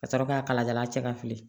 Ka sɔrɔ k'a kalajaalan cɛ ka fili